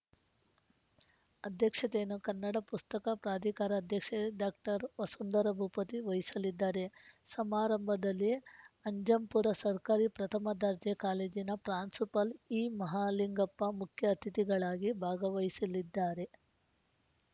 ಅಧ್ಯಕ್ಷತೆಯನ್ನು ಕನ್ನಡ ಪುಸ್ತಕ ಪ್ರಾಧಿಕಾರ ಅಧ್ಯಕ್ಷೆ ಡಾಕ್ಟರ್ ವಸುಂಧರಾ ಭೂಪತಿ ವಹಿಸಲಿದ್ದಾರೆ ಸಮಾರಂಭದಲ್ಲಿ ಅಜ್ಜಂಪುರ ಸರ್ಕಾರಿ ಪ್ರಥಮ ದರ್ಜೆ ಕಾಲೇಜಿನ ಪ್ರಾಂಶುಪಾಲ ಇಮಹಲಿಂಗಪ್ಪ ಮುಖ್ಯ ಅತಿಥಿಗಳಾಗಿ ಭಾಗವಹಿಸಲಿದ್ದಾರೆ